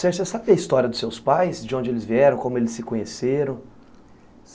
Senhor, você sabe da história dos seus pais, de onde eles vieram, como eles se conheceram?